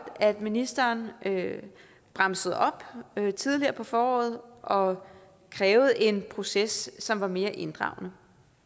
at ministeren bremsede op tidligere på foråret og krævede en proces som var mere inddragende